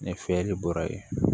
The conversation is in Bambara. Ni fiyɛli bɔra yen